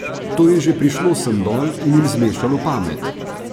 To je že prišlo sem dol in jim zmešalo pamet!